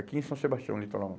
Aqui em São Sebastião, litoral